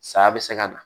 Saya bɛ se ka na